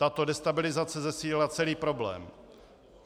Tato destabilizace zesílila celý problém.